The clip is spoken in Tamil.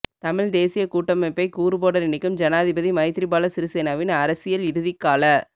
தமிழ்த் தேசியக் கூட்டமைப்பைக் கூறுபோட நினைக்கும் ஜனாதிபதி மைத்திரிபால சிறிசேனவின் அரசியல் இறுதிக்கால